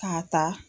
K'a ta